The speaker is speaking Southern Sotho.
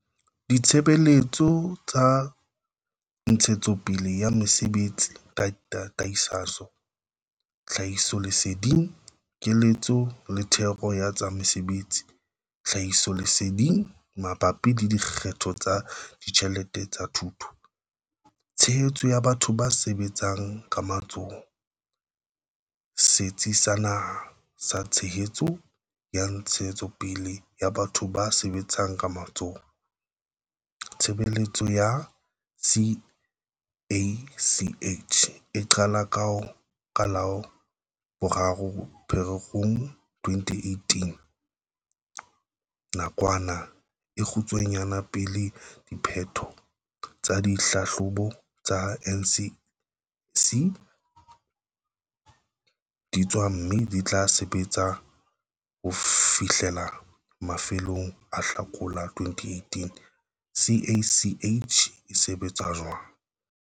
Ditshebeletso tsa ntshetsopele ya mosebetsi, tataiso, tlhahisoleseding, keletso le thero ya tsa mesebetsi-tlhahisoleseding mabapi le dikgetho tsa ditjhelete tsa thuto. Tshehetso ya batho ba sebetsang ka matsoho - Setsi sa Naha sa Tshehetso ya Ntshetsopele ya Batho ba Sebetsang ka Matsoho. Tshebeletso ya CACH eqala ka la 3 Pherekgong 2018, nakwana e kgutshwanyane pele diphetho tsa dihlahlobo tsa NSC di tswa mme e tla sebetsa ho fihlela mafelong a Hlakola 2018. CACH e sebetsa jwang?